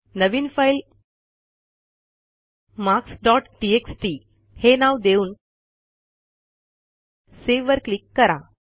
नवीन file marks dot text हे नाव देऊन Saveवर क्लिक करा